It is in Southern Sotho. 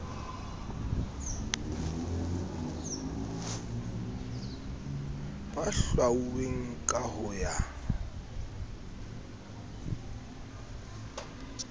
ba hlwauweng ka ho ya